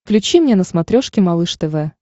включи мне на смотрешке малыш тв